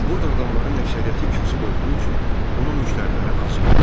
Burda adamların əksəriyyəti kasıb olduğu üçün onun müştəriləri az idi.